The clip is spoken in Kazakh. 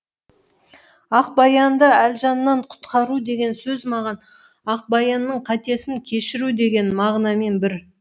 ақбаянды әлжаннан құтқару деген сөз маған ақбаянның қатесін кешіру деген мағынамен бір